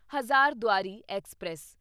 Hazarduari express